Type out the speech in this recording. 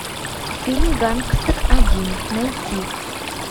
фильм гангстер один найти